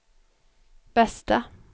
bästa